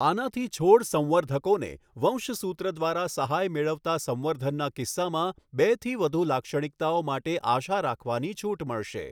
આનાથી છોડ સંવર્ધકોને વંશસૂત્ર દ્વારા સહાય મેળવતા સંવર્ધનના કિસ્સામાં બેથી વધુ લાક્ષણિકતાઓ માટે આશા રાખવાની છૂટ મળશે.